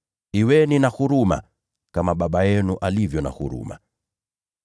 Kuweni na huruma, kama Baba yenu alivyo na huruma.